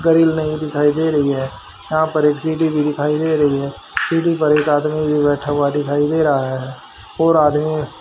grill नही दिखाई दे रही है यहां पर एक सीढ़ी भी दिखाई दे रही है सीढ़ी पर एक आदमी भी बैठा हुआ दिखाई दे रहा है और आदमी --